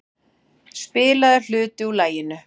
Spilaður hluti úr laginu.